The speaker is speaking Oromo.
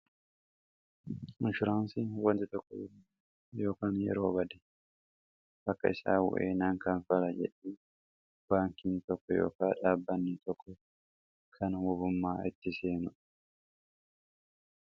inshuraansiin wanti tokko yookaan yeroo bade bakka isaa bu'ee naankanfala jedhe baankiin tokko ykn dhaabanni tokko kan wabummaa itti seenu